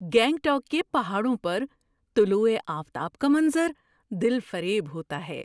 گینگٹوک کے پہاڑوں پر طلوع آفتاب کا منظر دلفریب ہوتا ہے۔